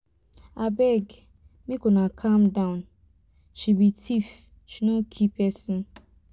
abeg make una calm down she be thief she no kill person.